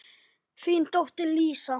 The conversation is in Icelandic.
Þín dóttir Lísa.